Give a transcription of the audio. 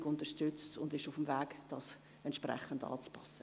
Die Regierung unterstützt sie und ist auf dem Weg dies entsprechend anzupassen.